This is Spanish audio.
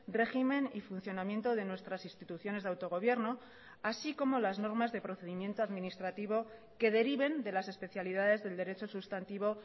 régimen y funcionamiento de nuestras instituciones de autogobierno así como las normas de procedimiento administrativo que deriven de las especialidades del derecho sustantivo